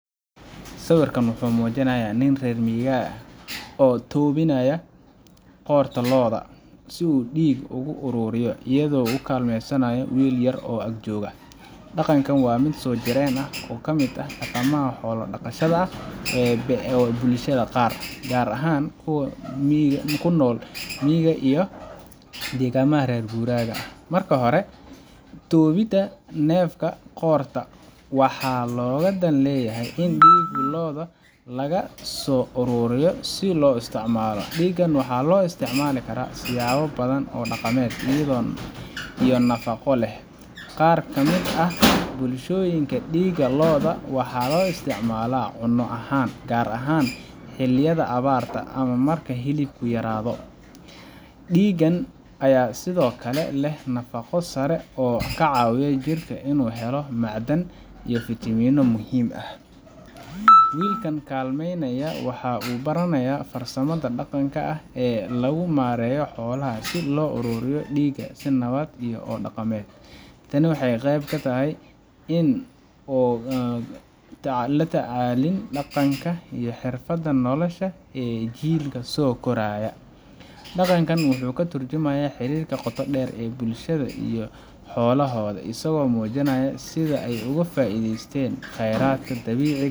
Sawirkan waxa uu muujinayaa nin reer guuraa ah oo tobinaya qoorta lo’da si uu dhiig uga ururiyo, iyadoo uu kaalmeynayo wiil yar oo ag joog. Dhaqankan waa mid soojireen ah oo ka mid ah dhaqamada xoolo dhaqashada ee bulshada qaar, gaar ahaan kuwa ku nool miyiga iyo deegaanada reer guuraaga ah. Marka hore, toobinta neefka qoorta waxaa looga dan leeyahay in dhiigga lo’da laga soo ururiyo si loo isticmaalo. Dhiiggan waxaa loo isticmaali karaa siyaabo badan oo dhaqameed iyo nafaqo leh. Qaar ka mid ah bulshooyinka, dhiigga lo’da waxaa loo isticmaalaa cunno ahaan, gaar ahaan xilliyada abaarta ama marka hilibku yaraado. Dhiiggan ayaa sidoo kale leh nafaqo sare oo ka caawisa jirka inuu helo macdan iyo fitamiinno muhiim ah. Wiilka kaalmeynaya waxa uu baranayaa farsamada dhaqanka ah ee lagu maareeyo xoolaha iyo sida loo ururiyo dhiigga si nabad ah oo dhaqameed. Tani waa qayb katahy in la tacliinta dhaqanka iyo xirfadaha nolosha ee jiilka soo koraya. Dhaqankan wuxuu ka tarjumayaa xiriirka qotoda dheer ee bulshada iyo xoolahooda, isagoo muujinaya sida ay uga faa’iideystaan khayraadka dabiiciga